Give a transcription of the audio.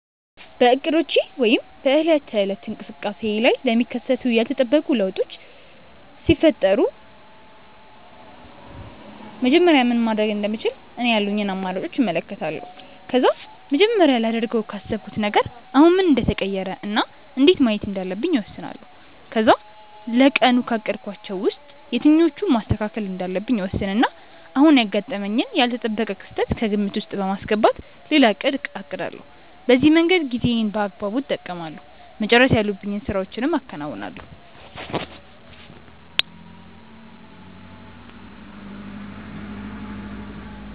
በእቅዶቼ ወይም በዕለት ተዕለት እንቅስቃሴዬ ላይ ለሚከሰቱ ያልተጠበቁ ለውጦች ሲፈጠሩ መጀመሪያ ምን ማድረግ እንደምችል እኔ ያሉኝን አማራጮች እመለከታለሁ። ከዛ መጀመሪያ ላደርገው ካሰብኩት ነገር አሁን ምን እንደተቀየረ እና እንዴት ማየት እንዳለብኝ እወስናለሁ። ከዛ ለቀኑ ካቀድኳቸው ውስጥ የትኞቹን ማስተካከል እንዳለብኝ እወስንና አሁን ያጋጠመኝን ያልተጠበቀ ክስተት ከግምት ውስጥ በማስገባት ሌላ እቅድ አቅዳለሁ። በዚህ መንገድ ጊዜዬን በአግባቡ እጠቀማለሁ፤ መጨረስ ያሉብኝን ስራዎችም አከናውናለሁ።